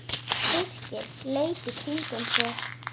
Birkir leit í kringum sig.